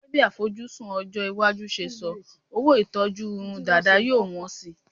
Gẹ́gẹ́ bí àfojúsùn ọjọ́-iwájú ṣe sọ, owó ìṣetọ́jú irun dàda yóò wọ́n síi.